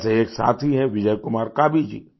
जैसे एक साथी हैं बिजय कुमार काबी जी